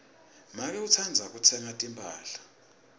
make utsandza kutsenga timphahla